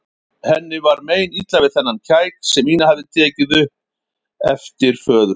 Henni var meinilla við þennan kæk sem Ína hafði tekið upp eftir föður sínum.